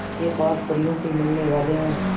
के पास परियों से मिलने वाले हैं